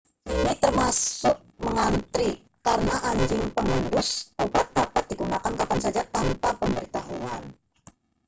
ini termasuk mengantre karena anjing pengendus obat dapat digunakan kapan saja tanpa pemberitahuan